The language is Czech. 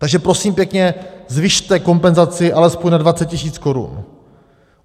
Takže prosím pěkně, zvyšte kompenzaci alespoň na 20 tisíc korun.